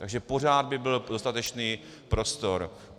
Takže pořád by byl dostatečný prostor.